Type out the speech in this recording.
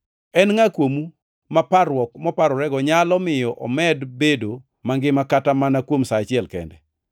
En ngʼa kuomu ma parruok moparorego nyalo miyo omed bedo mangima kata mana kuom sa achiel kende?